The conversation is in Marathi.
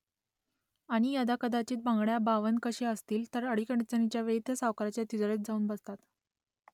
आणि यदाकदाचित बांगड्या बावनकशी असतील तर अडीअडचणीच्या वेळी त्या सावकाराच्या तिजोरीत जाऊन बसतात